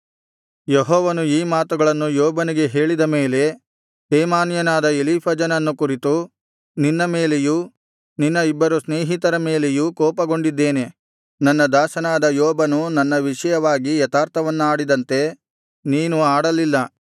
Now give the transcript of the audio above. ಯೆಹೋವನು ಈ ಮಾತುಗಳನ್ನು ಯೋಬನಿಗೆ ಹೇಳಿದ ಮೇಲೆ ತೇಮಾನ್ಯನಾದ ಎಲೀಫಜನನ್ನು ಕುರಿತು ನಿನ್ನ ಮೇಲೆಯೂ ನಿನ್ನ ಇಬ್ಬರು ಸ್ನೇಹಿತರ ಮೇಲೆಯೂ ಕೋಪಗೊಂಡಿದ್ದೇನೆ ನನ್ನ ದಾಸನಾದ ಯೋಬನು ನನ್ನ ವಿಷಯವಾಗಿ ಯಥಾರ್ಥವನ್ನಾಡಿದಂತೆ ನೀನು ಆಡಲಿಲ್ಲ